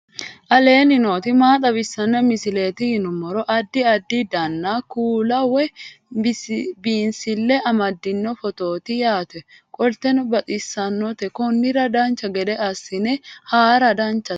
aleenni nooti maa xawisanno misileeti yinummoro addi addi dananna kuula woy biinsille amaddino footooti yaate qoltenno baxissannote konnira dancha gede assine haara danchate